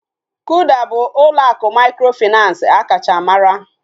Kuda bụ ụlọ akụ mikrofinansi akacha mara